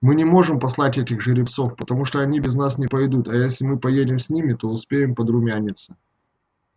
мы не можем послать этих жеребцов потому что они без нас не пойдут а если мы поедем с ними то успеем подрумяниться